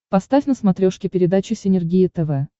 поставь на смотрешке передачу синергия тв